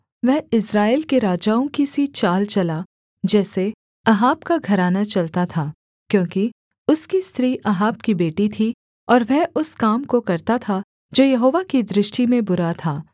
वह इस्राएल के राजाओं की सी चाल चला जैसे अहाब का घराना चलता था क्योंकि उसकी स्त्री अहाब की बेटी थी और वह उस काम को करता था जो यहोवा की दृष्टि में बुरा था